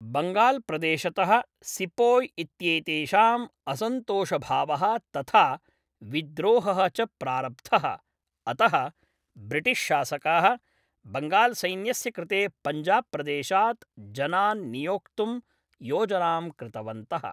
बङ्गाल्प्रदेशतः sepoy इत्येतेषां असन्तोषभावः तथा विद्रोहः च प्रारब्धः, अतः ब्रिटिश्शासकाः बङ्गाल्सैन्यस्य कृते पंजाबप्रदेशात् जनान् नियोक्तुं योजनां कृतवन्तः।